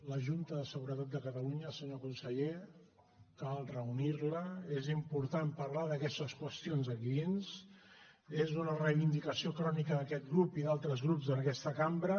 la junta de seguretat de catalunya senyor conseller cal reunir la és important parlar d’aquestes qüestions aquí dins és una reivindicació crònica d’aquest grup i d’altres grups en aquesta cambra